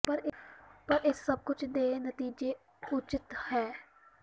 ਪਰ ਇਸ ਸਭ ਕੁਝ ਦੇ ਨਤੀਜੇ ਦੇ ਉਚਿਤ ਹੈ